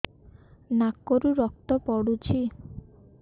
ନାକରୁ ରକ୍ତ ପଡୁଛି